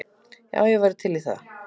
Já, ég væri til í það.